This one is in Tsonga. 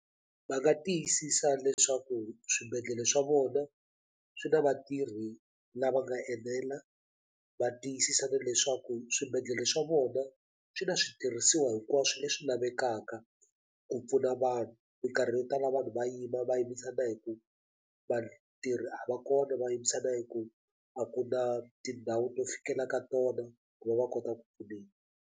Va nga tiyisisa leswaku swibedhlele swa vona swi na vatirhi lava nga enela va tiyisisa na leswaku swibedhlele swa vona swi na switirhisiwa hinkwaswo leswi lavekaka ku pfuna vanhu mikarhi yo tala vanhu va yima va yimisa na hi ku vatirhi a va kona va yimisa na hi ku a ku na tindhawu to fikela ka tona ku va va kota ku pfuneka.